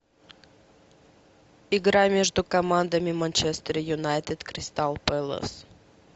игра между командами манчестер юнайтед кристал пэлас